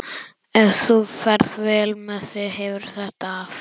Ef þú ferð vel með þig hefurðu þetta af.